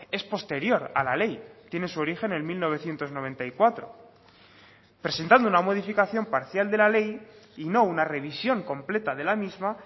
es posterior a la ley tiene su origen en mil novecientos noventa y cuatro presentando una modificación parcial de la ley y no una revisión completa de la misma